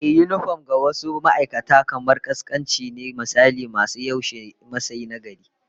Ehh, yinifom ga wasu ma'aikatan kamar kaskanci ne, misali masu yaushe Masai na gari